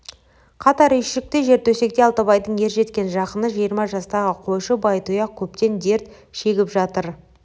қатар үйшікте жертөсекте алтыбайдың ержеткен жақыны жиырма жастағы қойшы байтұяқ көптен дерт шегіп жатыр